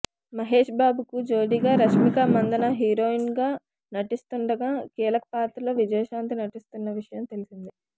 మహేష్బాబుకు జోడీగా రష్మిక మందన్న హీరోయిన్గా నటిస్తుండగా కీలక పాత్రలో విజయశాంతి నటిస్తున్న విషయం తెల్సిందే